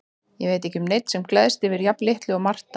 Ég veit ekki um neinn sem gleðst yfir jafn litlu og Marta.